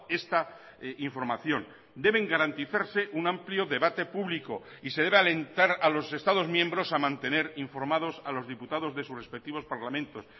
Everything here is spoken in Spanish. esta información deben garantizarse un amplio debate público y se debe alentar a los estados miembros a mantener informados a los diputados de sus respectivos parlamentos